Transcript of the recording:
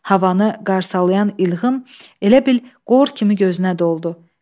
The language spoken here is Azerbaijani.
Havanı qarsalayan ilğım elə bil qor kimi gözünə doldu.